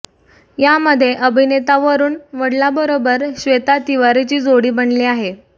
यामध्ये अभिनेता वरूण वडोलाबरोबर श्वेता तिवारीची जोडी बनली आहे